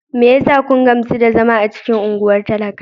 Me yasa kun gamsu da zama a cikin unguwar talaka?